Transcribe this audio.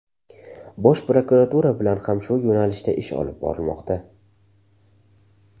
Bosh prokuratura bilan ham shu yo‘nalishda ish olib borilmoqda.